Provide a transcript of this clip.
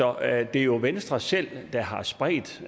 er jo venstre selv der har spredt